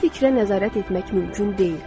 Hər fikrə nəzarət etmək mümkün deyil.